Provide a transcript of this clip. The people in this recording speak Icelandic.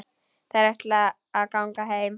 Þær ætla að ganga heim.